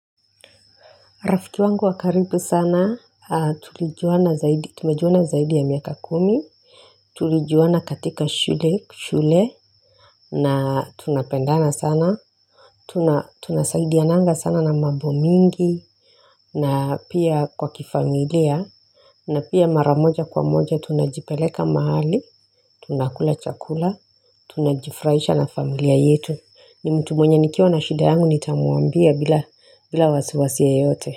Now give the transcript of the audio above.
Rafiki wangu wa karibu sana tulijuana, tumejuana zaidi ya miaka kumi, tulijuana katika shule, na tunapendana sana, Tunasaidiananga sana na mambo mingi, na pia kwa kifamilia, na pia mara moja kwa moja tunajipeleka mahali, tunakula chakula, tunajifuraihisha na familia yetu. Ni mtu mwenye nikiwa na shida yangu nitamwambia bila bila wasiwasia yote.